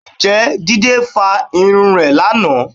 Ǹjẹ́ Jídé fa irun rẹ̀ lánàá